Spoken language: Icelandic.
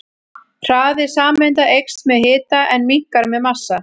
Hraði sameinda eykst með hita en minnkar með massa.